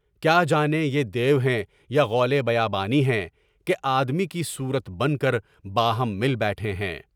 کیا جانیں یہ دیو ہیں یا غول بیابانی ہے ہیں کہ آدمی کی صورت بن کر باہم مل بیٹھے ہیں۔